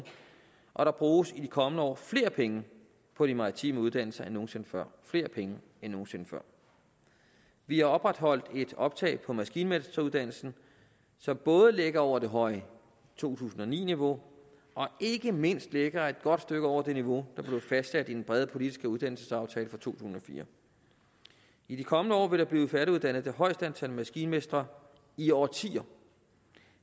og der bruges i de kommende år flere penge på de maritime uddannelser end nogen sinde før flere penge end nogen sinde før vi har opretholdt et optag på maskinmesteruddannelsen som både ligger over det høje to tusind og ni niveau og ikke mindst ligger et godt stykke over det niveau der blev fastsat i den brede politiske uddannelsesaftale for to tusind og fire i de kommende år vil der blive færdiguddannet det højeste antal maskinmestre i årtier